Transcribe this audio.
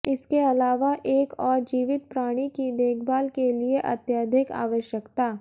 इसके अलावा एक और जीवित प्राणी की देखभाल के लिए अत्यधिक आवश्यकता